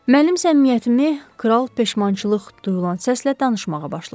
Mənim səmimiyyətimi, kral peşmançılıq duyulan səslə danışmağa başladı.